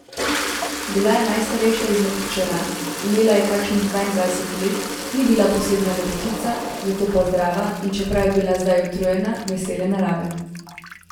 Bila je najstarejša izmed hčera, imela je kakšnih dvaindvajset let, ni bila posebna lepotica, zato pa zdrava, in čeprav je bila zdaj utrujena, vesele narave.